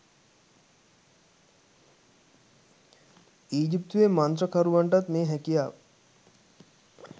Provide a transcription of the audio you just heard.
ඊජිත්තුවේ මන්ත්‍රකරුවන්ටත් මේ හැකියාව